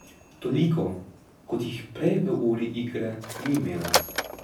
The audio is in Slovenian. Toliko, kot jih prej v uri igre ni imela.